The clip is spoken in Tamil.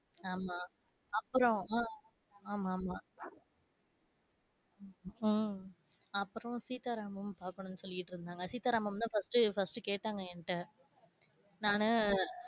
ஆமா அப்பறம் உம் ஆமா ஆமா உம் அப்பறம் சீதா ராமம் பாக்கனும் சொல்லிடு இருந்தாங்க சீதா ராமம் தான் first, first கேட்டாங்க என்கிட்ட நானு,